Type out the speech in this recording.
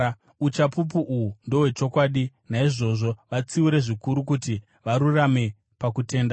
Uchapupu uhu ndohwechokwadi. Naizvozvo vatsiure zvikuru, kuti varurame pakutenda